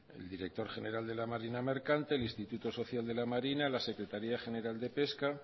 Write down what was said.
el director general de la marina mercante el instituto social de la marina la secretaría general de pesca